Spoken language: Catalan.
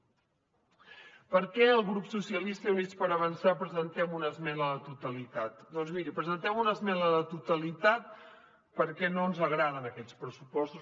per què el grup socialistes i units per avançar presentem una esmena a la totalitat doncs miri presentem una esmena a la totalitat perquè no ens agraden aquests pressupostos